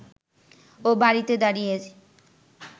ও বাড়িতে দাঁড়িয়ে